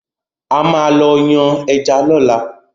A máa lọ yàn ẹja lóla